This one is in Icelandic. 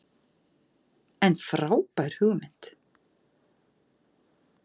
En frábær hugmynd.